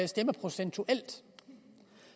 stemmeprocentuelt